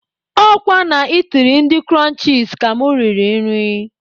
Ọ kwa na itiri ndị Kụrụnchis ka mụ riri nri.